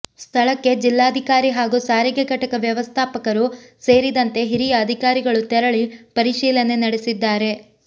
ಸ್ಥಳಕ್ಕೆ ಜಿಲ್ಲಾಧಿಕಾರಿ ಹಾಗೂ ಸಾರಿಗೆ ಘಟಕ ವ್ಯವಸ್ಥಾಪಕರು ಸೇರಿದಂತೆ ಹಿರಿಯ ಅಧಿಕಾರಿಗಳು ತೆರಳಿ ಪರಿಶೀಲನೆ ನಡೆಸಿದ್ದಾರೆ